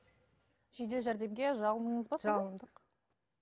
жедел жәрдемге жалындыңыз ба сонда жалындық